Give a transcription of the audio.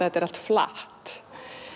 þetta allt flatt